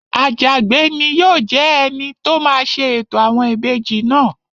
Àjàgbé ni yóò jẹ́ ẹni tó máa ṣe ètò àwọn ìbejì náà